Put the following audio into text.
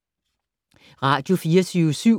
Radio24syv